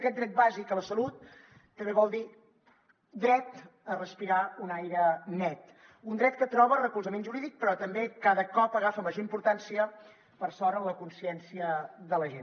aquest dret bàsic a la salut també vol dir dret a respirar un aire net un dret que troba recolzament jurídic però que també cada cop agafa major importància per sort en la consciència de la gent